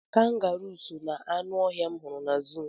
Kangaruu so na-aṅụ ọhịa m hụrụ na zuu.